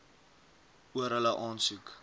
oor hulle aansoek